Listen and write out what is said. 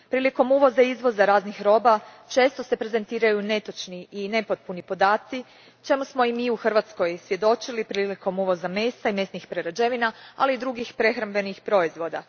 Prilikom uvoza i izvoza raznih roba često se prezentiraju netočni i nepotpuni podaci čemu smo i mi u Hrvatskoj svjedočili prilikom uvoza mesa i mesnih prerađevina ali i drugih prehrambenih proizvoda.